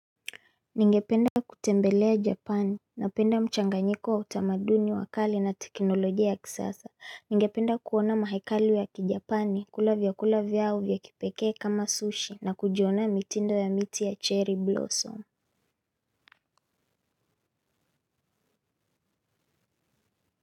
Ningependa kutembelea japani, napenda mchanganyiko wa utamaduni wa kale na teknolojia ya kisasa, ningependa kuona mahekalu ya kijapani, kula vyakula vyao vya kipekee kama sushi, na kujionea mitindo ya miti ya cherry blossom.